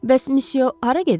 Bəs misya hara gedir?